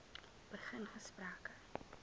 begin gesprekke